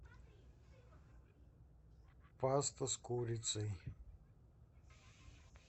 паста с курицей